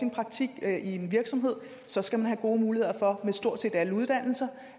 i en virksomhed så skal man have gode muligheder for ved stort set alle uddannelser